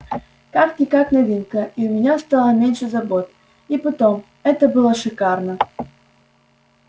как-никак новинка и у меня стало меньше забот и потом это было шикарно